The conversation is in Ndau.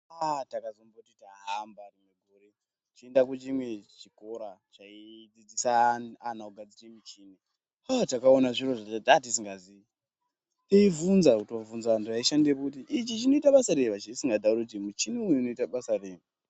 Aa takazomboti tahamba rimwe gore tichienda kune chimwe chikora chaidzidzisa ana kugadzire michini. Aa takaona zviro zvatatisingazivi tiibvunza kutobvunza vantu vaishandepo kuti ichi chinoita basa rei tisingatauri kuti muchini uyu unoita basa rei.